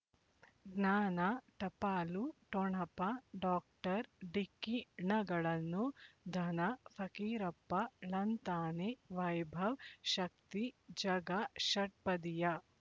ಜ್ಞಾನ ಟಪಾಲು ಠೊಣಪ ಡಾಕ್ಟರ್ ಢಿಕ್ಕಿ ಣಗಳನು ಧನ ಫಕೀರಪ್ಪ ಳಂತಾನೆ ವೈಭವ್ ಶಕ್ತಿ ಝಗಾ ಷಟ್ಪದಿಯ